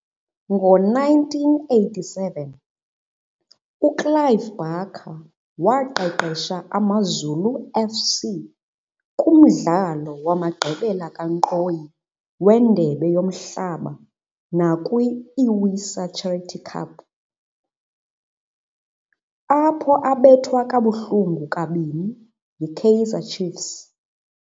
Ngo-1987, uClive Barker waqeqesha AmaZulu FC kumdlalo wamagqibela kankqoyi weNdebe yoMhlaba nakwi-Iwisa Charity Cup, apho abethwa kabuhlungu kabini yiKaizer Chiefs.